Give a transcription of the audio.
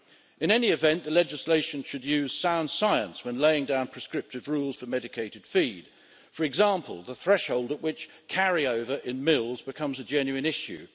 In any event, the legislation should use sound science when laying down prescriptive rules for medicated feed for example, the threshold at which carryover in mills becomes a genuine issue.